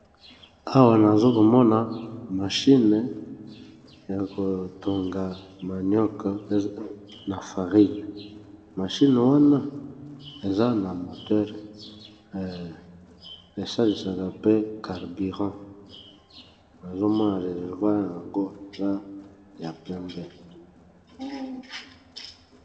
Awa nazo komona mashine ya kotonga manioc na farine mashine wana eza na moteur esalisaka pe carburant nazomona reserroit yango la ya pembe.